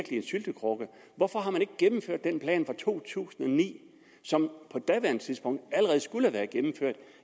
syltekrukke hvorfor har man ikke gennemført den plan fra to tusind og ni som på daværende tidspunkt allerede skulle have været gennemført